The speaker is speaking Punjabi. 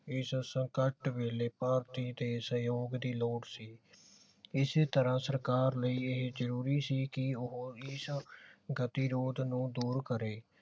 ਇਸ ਸੰਕਟ ਵੇਲੇ ਭਾਰਤੀ ਦੇ ਸਹਿਯੋਗ ਦੀ ਲੋੜ ਸੀ ਇਸੇ ਤਰ੍ਹਾਂ ਸਰਕਾਰ ਲਈ ਇਹੀ ਜਰੂਰੀ ਸੀ ਕਿ ਉਹ ਇਸ ਗਤਿਰੋਧ ਨੂੰ ਦੂਰ ਕਰੇ